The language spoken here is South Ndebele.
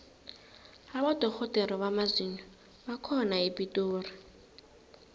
abodorhodere bamazinyo bakhona epitori